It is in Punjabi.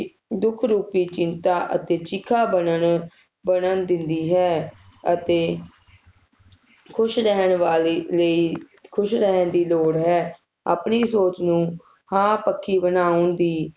ਦੁੱਖ ਰੂਪੀ ਚਿੰਤਾ ਅਤੇ ਚਿਖਾ ਬਣਨ ਬਨਣ ਦਿੰਦੀ ਹੈ ਅਤੇ ਖੁਸ਼ ਰਹਿਣ ਵਾਲੀ ਲਈ ਖੁਸ਼ ਰਹਿਣ ਦੀ ਲੋੜ ਹੈ ਆਪਣੀ ਸੋਚ ਨੂੰ ਹਾਂ ਪੱਕੀ ਬਣਾਉਣ ਦੀ